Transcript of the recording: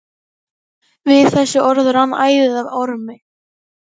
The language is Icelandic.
Við þessi orð rann æðið af Ormi.